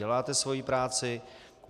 Děláte svoji práci.